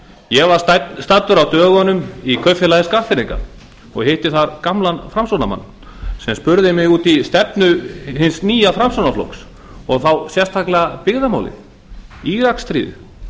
ég var staddur á dögunum í kaupfélagi skagfirðinga og hitti þar gamlan framsóknarmann sem spurði mig út í stefnu hins nýja framsóknarflokks og sérstaklega byggðamálin íraksstríðið